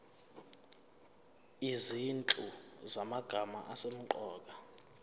izinhlu zamagama asemqoka